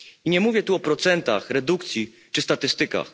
I nie mówię tu o procentach, redukcji czy statystykach.